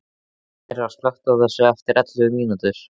Myrra, slökktu á þessu eftir ellefu mínútur.